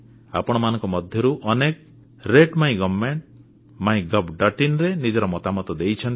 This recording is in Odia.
ଆପଣମାନଙ୍କ ମଧ୍ୟରୁ ଅନେକ ରାତେ ମାଇ ଗଭର୍ଣ୍ଣମେଣ୍ଟ mygovଆଇଏନ ରେ ନିଜର ମତାମତ ଦେଇଛନ୍ତି